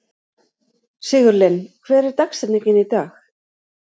Sigurlinn, hver er dagsetningin í dag?